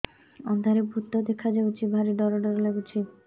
ଅନ୍ଧାରରେ ଭୂତ ଦେଖା ଯାଉଛି ଭାରି ଡର ଡର ଲଗୁଛି